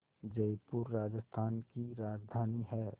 जयपुर राजस्थान की राजधानी है